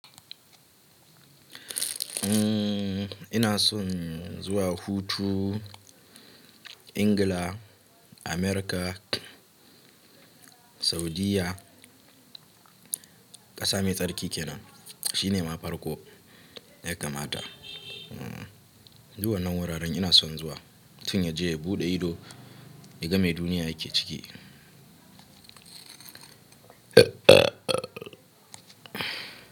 Ina son zuwa hutu, England, America, Saudiyya, ƙasa mai tsarki kenan shine ma farko ya kamata. Du wannan wuraren ina son zuwa mutun ya je ya buɗe ido ya ga me duniya yake ciki.